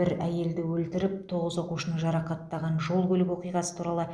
бір әйелді өлтіріп тоғыз оқушыны жарақаттаған жол көлік оқиғасы туралы